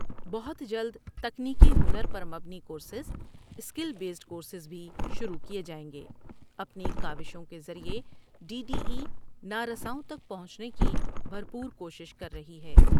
بہت جلد تکنیکی ہنر پر مبنی کورسز اسکل بیسڈ کورسز بھی شروع کیے جاٮٔیں گے ۔اپنی کاوشوں کے ذریعہ ڈی ڈی ای نارساؤں تک پہنچنےکی بھر پور کوشش کر رہی ہے۔